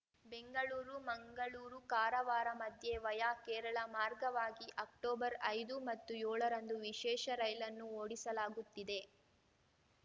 ಬೆಂಗಳೂರು ಮಂಗಳೂರು ಕಾರವಾರ ಮಧ್ಯೆ ವಯಾ ಕೇರಳ ಮಾರ್ಗವಾಗಿ ಅಕ್ಟೊಬರ್ಐದು ಮತ್ತು ಯೋಳರಂದು ವಿಶೇಷ ರೈಲನ್ನು ಓಡಿಸಲಾಗುತ್ತಿದೆ